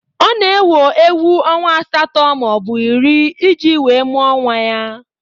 Ọ na-ewo ewu ọnwa asatọ maọbụ iri iji wee mụọ nwa ya.